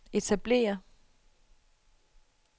etablere